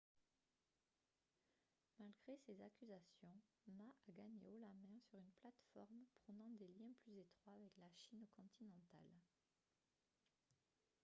malgré ces accusations ma a gagné haut la main sur une plateforme prônant des liens plus étroits avec la chine continentale